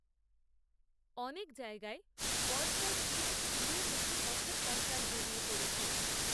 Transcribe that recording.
অনেক জায়গায় বর্ষায় পিচ ধুয়েমুছে পথের কঙ্কাল বেরিয়ে পড়েছে